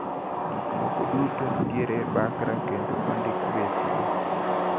Gikmoko duto nitiere e bakra kendo ondik bechgi.